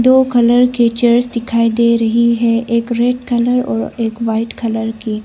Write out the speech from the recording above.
दो कलर के चेयर दिखाई दे रही है एक रेड कलर और एक वाइट कलर कि।